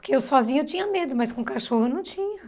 Porque eu sozinha eu tinha medo, mas com cachorro eu não tinha.